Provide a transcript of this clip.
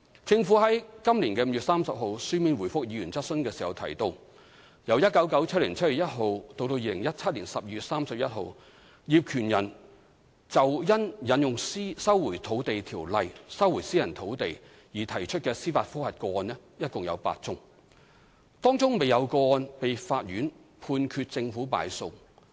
政府於今年5月30日書面答覆議員質詢時提到，由1997年7月1日至2017年12月31日，業權人就因引用《收回土地條例》收回私人土地而提出的司法覆核個案共有8宗，當中未有個案被法院判決政府敗訴。